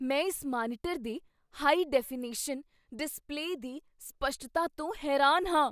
ਮੈਂ ਇਸ ਮਾਨੀਟਰ ਦੇ ਹਾਈ ਡੈਫੀਨੇਸ਼ਨ ਡਿਸਪਲੇਅ ਦੀ ਸਪਸ਼ਟਤਾ ਤੋਂ ਹੈਰਾਨ ਹਾਂ